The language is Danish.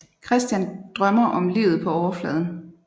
Christian drømmer om livet på overfladen